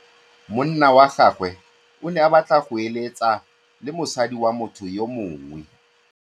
Monna wa gagwe o ne a batla go êlêtsa le mosadi wa motho yo mongwe.